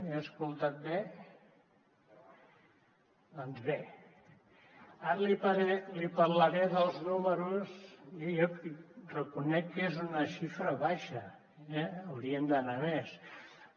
ho he sentit bé doncs bé ara li parlaré dels números jo reconec que és una xifra baixa hauríem d’anar a més però